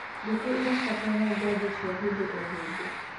ngũkũ irabatara njano cia hĩndĩ o hĩndĩ